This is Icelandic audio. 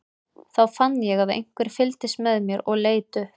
Þá fann ég að einhver fylgdist með mér og leit upp.